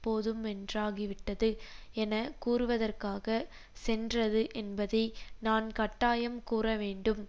போதுமென்றாகிவிட்டது என கூறுவதற்காக சென்றது என்பதை நான் கட்டாயம் கூறவேண்டும்